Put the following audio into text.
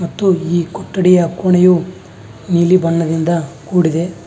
ಮತ್ತು ಈ ಕೊಠಡಿಯ ಕೋಣೆಯು ನೀಲಿ ಬಣ್ಣದಿಂದ ಕೂಡಿದೆ.